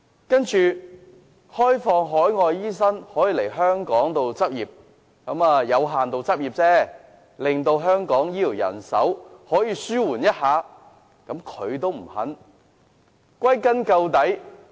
對於讓海外醫生來港執業——只是有限度執業——以紓緩香港的醫療人手不足，他也不願意。